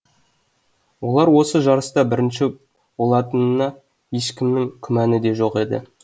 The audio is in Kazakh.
олар осы жарыста бірінші олатынына ешкімнің күмәні де жоқ еді